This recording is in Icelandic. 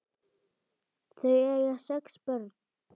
Þau eiga sex börn.